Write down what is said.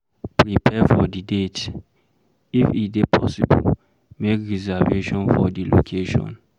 Prepare for di date, if e dey possible, make reservation for di location